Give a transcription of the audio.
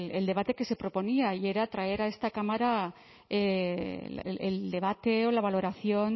el debate que se proponía y era traer a esta cámara el debate o la valoración